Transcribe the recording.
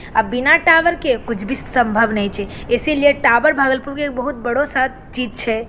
अब बिना टावर के कुछ भी स संभव नाय छे। इसीलिए टावर भागलपुर के एक बहुत बड़ो सत चीज छै।